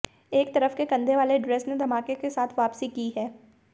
एक तरफ के कंधे वाले ड्रेस ने धमाके के साथ वापसी की है